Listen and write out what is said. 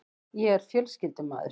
Ég er fjölskyldumaður.